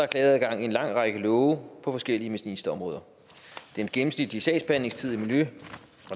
klageadgang i en lang række love på forskellige ministerområder den gennemsnitlige sagsbehandlingstid i